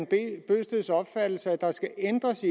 bent bøgsteds opfattelse at der skal ændres